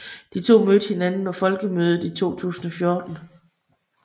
De to mødte hinanden på Folkemødet i 2014